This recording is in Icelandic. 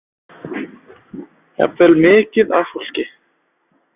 Jafnvel mikið af fólki.